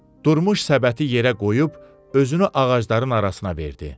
Durmuş səbəti yerə qoyub özünü ağacların arasına verdi.